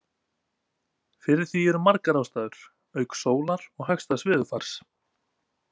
Fyrir því eru margar ástæður auk sólar og hagstæðs veðurfars.